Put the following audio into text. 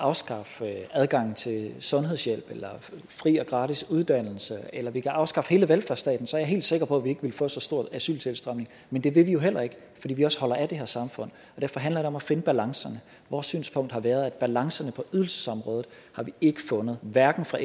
afskaffe adgangen til sundhedshjælp eller fri og gratis uddannelse eller at vi kan afskaffe hele velfærdsstaten så er jeg helt sikker på at vi ikke ville få så stor en asyltilstrømning men det vil vi jo heller ikke fordi vi også holder af det her samfund derfor handler det om at finde balancerne vores synspunkt har været at balancerne på ydelsesområdet har vi ikke fundet hverken fra